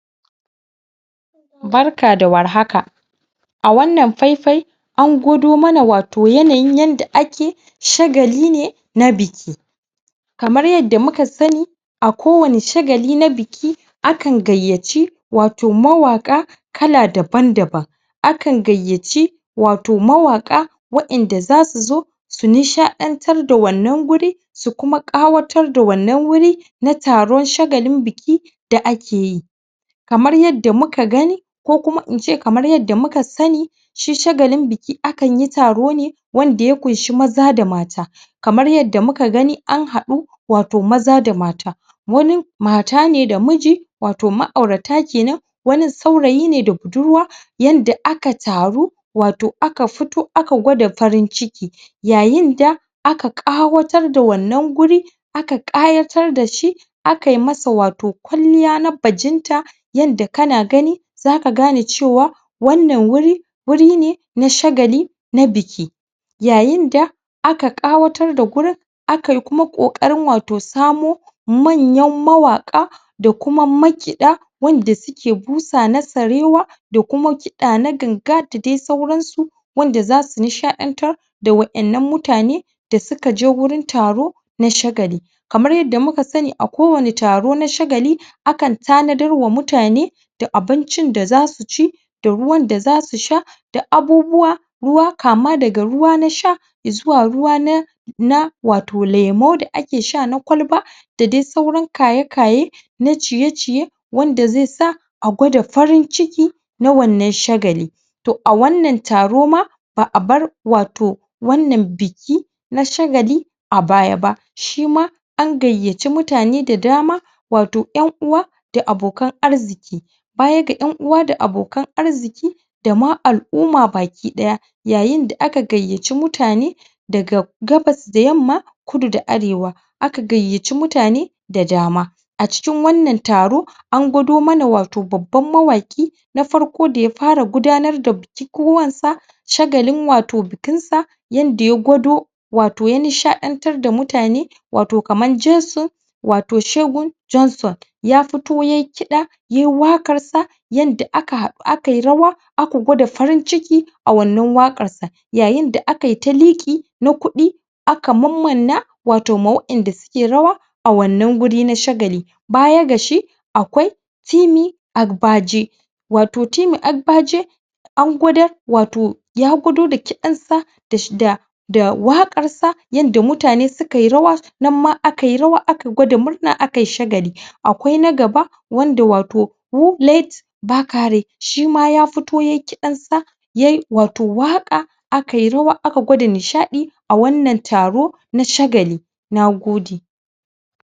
Barka da warhaka a wannan faifai an gwado mana wato yanayin yanda ake shagali ne na biki kamar yanda muka sani a kowani shagali na biki akan gayyaci wato mawaƙa kala daban-daban akan gayyaci wato mawaƙa wa'inda za su zo su nishaɗantar da wannan wuri su kuma ƙawatar da wannan wuri na taron shagalin biki da ake yi kamar yadda muka gani ko kuma in ce kamar yadda muka sani shi shagalin biki akanyi taro ne wanda ya ƙunshi maza da mata kamar yadda muka gani an haɗu wato maza da mata wanin mata ne da miji wato ma'aurata kenan wanin saurayii ne da budurwa yanda ka taru wato aka fito aka gwada farin-ciki yayinda aka ƙawatar da wannan wuri aka ƙayatar da shi akayi masa wato kwalliya na bajinta yadda kana gani zaka gane cewa wannan wuri wuri ne na shagali na biki yayinda aka ƙawatar da wurin aka yi kuma ƙoƙarin wato samo manyan mawaƙa da kuma makiɗa wanda suke busa na sarewa da kuma kiɗa na ganga da dai sauransu wanda za su nishaɗantar da wa'innan mutane da suka je wurin taro na shagali kamar yanda muka sani a kowani taro na shagali akan tanadar wa mutane da abincin da za su ci da ruwan da za su sha da abubuwa ruwa kama daga ruwa na sha izuwa ruwa na na wato lemu da ake sha na kwalba da dai sauran kaye-kaye na ciye-ciye wanda zai sa a gwada farin-ciki na wannan shagali to a wannan taro ma ba a bar wato wannan biki na shagali a baya ba shima an gayyaci mutane da dama wato ƴan'uwa da abokan arziki baya ga ƴan'uwa da abokan arziki da ma al'uma baki-ɗaya yayinda aka gayyaci mutane daga gabas da yamma kudu da arewa aka gayyaci mutane da dama a cikin wannan taro an gwado mana wato babban mawaƙi na farko da ya fara gudanar da bukukuwansa shagalin wato bikinsa yanda ya gwado wato ya nishaɗantar da mutane wato kaman jesu wato shegun Johnson ya fito ya yi kiɗa yayi waƙarsa yanda aka haɗu akayi rawa aka gwada farin-ciki a wannan waƙarsa yayinda aka ta yi liƙi na kuɗi aka mammanna wato ma wa'inda ke rawa a wannan wuri na shagali baya ga shi akwai Timi Agbaje wato Timi Agbaje an gwadar wato ya gwado da kiɗansa? da da waƙarsa yanda mutane sukayi rawa nanma akayi rawa aka gwada murna akayi shagali akwai na gaba wanda wato? Bakare shima ya fito yayi kiɗansa yayi wato waƙa aka yi rawa aka gwada nishaɗi a wannan taro na shagali na gode.